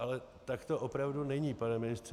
Ale tak to opravdu není, pane ministře.